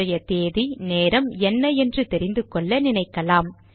இன்றைய தேதி நேரம் என்ன என்று தெரிந்துகொள்ள நினைக்கலாம்